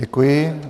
Děkuji.